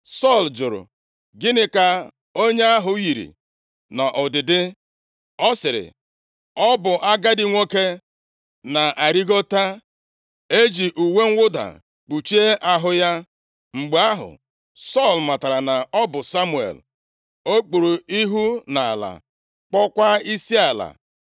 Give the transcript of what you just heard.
Sọl jụrụ, “Gịnị ka onye ahụ yiri nʼọdịdị?” Ọ sịrị, “Ọ bụ agadi nwoke na-arịgota, e ji uwe mwụda kpuchie ahụ ya.” Mgbe ahụ, Sọl matara na ọ bụ Samuel. O kpuru ihu nʼala, kpọọkwa isiala.